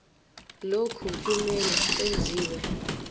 lokhu kumele kwenziwe